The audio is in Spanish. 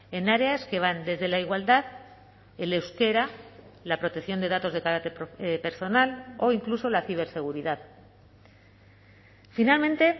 en áreas que van desde la igualdad el euskera la protección de datos de carácter personal o incluso la ciberseguridad finalmente